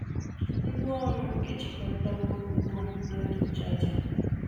Ngwaọrụ m ejikọtawo ugbu a na ọdụ chaja.